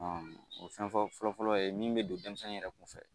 O fɛn fɔlɔfɔlɔ ye min bɛ don denmisɛn yɛrɛ kun fɛ